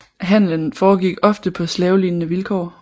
Handlen foregik ofte på slavelignende vilkår